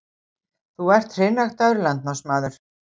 Þú ert hreinræktaður landnámsmaður.